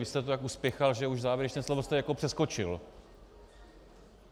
Vy jste to tak uspěchal, že už závěrečné slovo jste jako přeskočil.